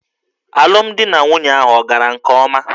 Alụmdi na nwunye ahụ ọ̀ gara nke ọma?